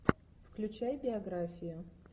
включай биографию